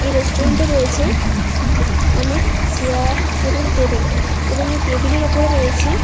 এই রেস্টুরেন্ট -এ রয়েছে অনেক চেয়ার এবং টেবিল এবং এই টেবিল -এর ওপরে রয়েছে--